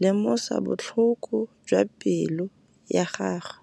lemosa botlhoko jwa pelô ya gagwe.